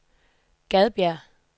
Gadbjerg